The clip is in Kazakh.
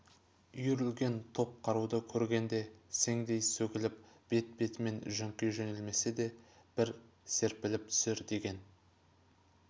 үйірлген топ қаруды көргенде сеңдей сөгіліп бет-бетмен жөңки жөнелмесе де бір серпіліп түсер деген